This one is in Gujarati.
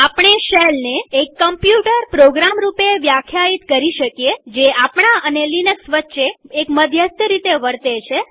આપણે શેલને એક કમ્પ્યુટર પ્રોગ્રામ રૂપે વ્યાખ્યાયિત કરી શકીએ જે આપણા અને લિનક્સ વચ્ચે મધ્યસ્થ તરીકે વર્તે છે